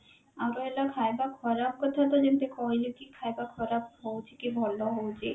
ଆଉ ରହିଲା ଖାଇବା ଖରାପ କଥା ତ ଯେମତି କହିଲି କି ଖାଇବା ଖରାପ ହଉଛି କି ଭଲ ହଉଛି